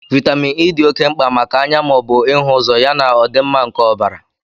Vitamin E di ọke mkpa maka anya maọbụ ịhu ụzọ ya na ọdịmma nke ọbara